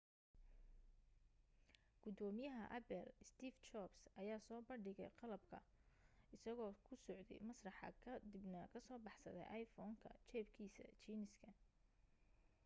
gudoomiyaha apple steve jobs ayaa soo bandhigay qalabka isagoo ku socday masraxa ka dibna ka soo baxsaday iphone-ka jeebkiisa jiiniska